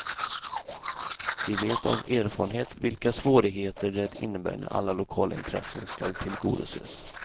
Vi vet av erfarenhet vilka svårigheter det innebär när alla lokala intressen skall tillgodoses.